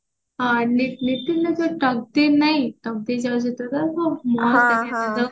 ଆଉ ନିତିନର ଯୋଉ ମୋ ତୋର